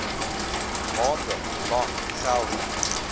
maande lank geldig